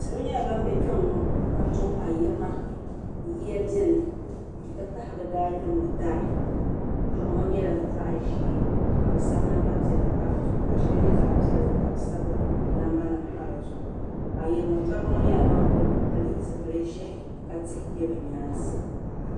Salo nyɛla ban be Kpenŋɔ ka to ayirimo yiya biɛni n ti pahi bɛ daayimo dari doɣu ŋɔ nyɛla zaɣa ʒee ka bɛ sabi namba piɛla pa di zuɣu ka sheli nyɛ zaɣa piɛlli ka bɛ sabi namba nima pa dizuɣu ayirimo toriba ŋɔ nyɛla ban kuli pili zipil'ʒee ka tihi be bɛ nyaansi.